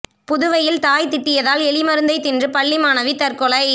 புதுவையில் தாய் திட்டியதால் எலி மருந்தை தின்று பள்ளி மாணவி தற்கொலை